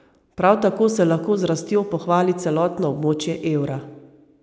Prav tako se lahko z rastjo pohvali celotno območje evra.